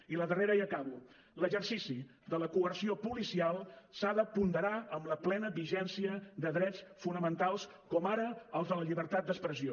i la darrera i acabo l’exercici de la coerció policial s’ha de ponderar amb la plena vigència de drets fonamentals com ara el de la llibertat d’expressió